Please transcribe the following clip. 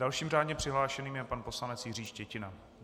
Dalším řádně přihlášeným je pan poslanec Jiří Štětina.